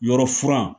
Yɔrɔ furan